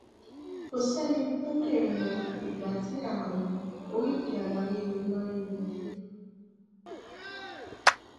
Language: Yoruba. kò sẹ́ni tó lè mọ ìgbà tí ààrùn oríkèé ara ríro máa ń yọjú